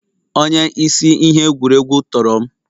Onye isi ihe egwuregwu tọrọ m